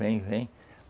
Vem, vem.